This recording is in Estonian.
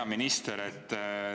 Hea minister!